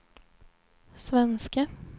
svenske